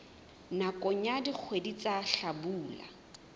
nakong ya dikgwedi tsa hlabula